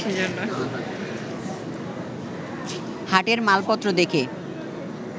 হাটের মালপত্র দেখে